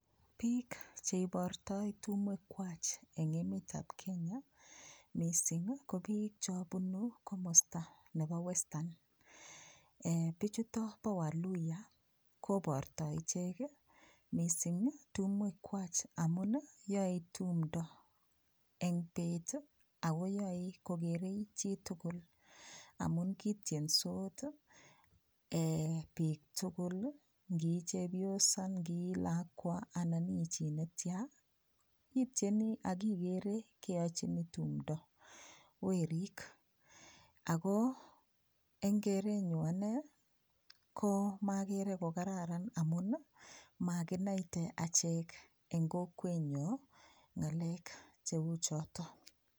Piik cheibortoi tumwek kwach eng emet ap Kenya mising ko piik chepunu komosta nepo western pichuto po waluya koportoi ichek mising tumwek kwach amun yoe tumdo eng peet akoyae kogerei chitugul amun kitiensot piik tugul ngii chepyosa ngii lakwa anan iichi netya itieni akikere keyachini tumdo werik Ako eng kerenyu ane ko magere ko kararan amun makinaite acchek eng kokwenyo ngalek cheuchotok.